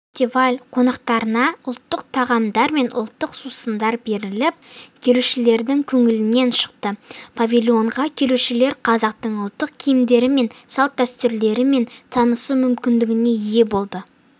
фестиваль қонақтарына ұлттық тағамдар мен ұлттық сусындар беріліп келушілердің көңілінен шықты павильонға келушілер қазақтың ұлттық киімдерімен салт-дәстүрлерімен танысу мүмкіндігіне ие болды